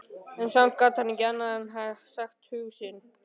En samt gat hann ekki annað en sagt hug sinn.